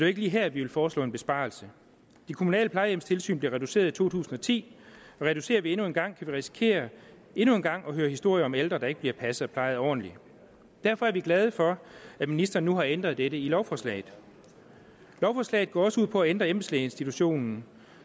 ikke lige her vi vil foreslå en besparelse de kommunale plejehjemstilsyn blev reduceret i to tusind og ti og reducerer vi endnu en gang kan vi risikere endnu en gang at høre historier om ældre der ikke bliver passet og plejet ordentligt derfor er vi glade for at ministeren nu har ændret dette i lovforslaget lovforslaget går også ud på at ændre embedslægeinstitutionen